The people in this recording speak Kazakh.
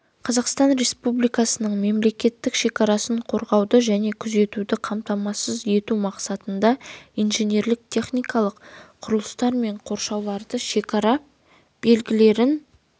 қазақстан республикасының мемлекеттік шекарасын қорғауды және күзетуді қамтамасыз ету мақсатында инженерлік-техникалық құрылыстар мен қоршауларды шекара белгілерін